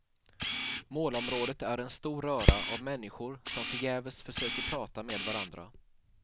Målområdet är en stor röra av människor som förgäves försöker prata med varandra.